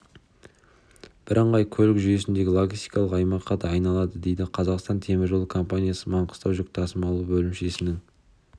бірыңғай көлік жүйесіндегі логистикалық аймаққа айналады дейді қазақстан темір жолы компаниясы маңғыстау жүк тасымалы бөлімшесінің